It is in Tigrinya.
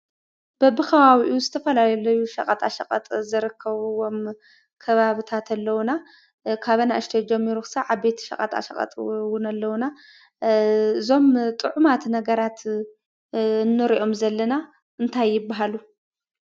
በቢከባቢኡ ዝተፈላለዩ ሸቀጣሸቀጥ ዝርከብዎም ከባቢታት ኣለውና። ካብ ኣናእሽተይ ጀሚሮም ክሳብ ዓበይቲ ሸቀጣቀቀጥ ኣለውና። እዞም ጡዑማት ነገራት ንርኦም ዘለና እንታይ ይባሃሉ?